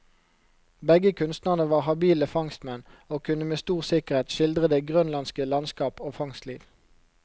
Begge kunstnerne var habile fangstmenn, og kunne med stor sikkerhet skildre det grønlandske landskap og fangstliv.